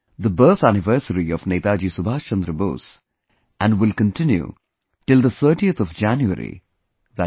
the birth anniversary of Netaji Subhas Chandra Bose and will continue till the 30th of January i